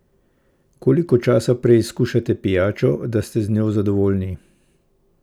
Koliko časa preizkušate pijačo, da ste z njo zadovoljni?